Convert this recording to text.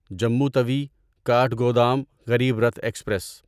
Jammu Tawi Kathgodam Garib Rath express